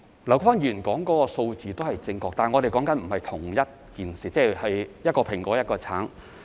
劉議員說的數字也是正確，但我們所談的不是同一件事，就像是一個蘋果、一個橙。